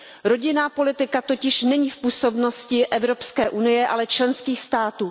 Rodinná politika totiž není v působnosti Evropské unie, ale členských států.